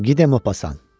Gide Mo Passan.